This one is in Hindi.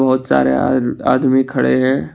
बहुत सारे आ आदमी खड़े हैं।